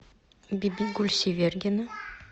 бибигуль севергина